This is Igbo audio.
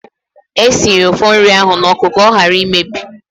Esiri ụfọ nri ahụ n'oku ka ọ hara imebi.